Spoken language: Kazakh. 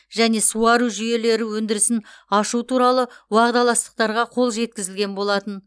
және суару жүйелері өндірісін ашу туралы уағдаластықтарға қол жеткізілген болатын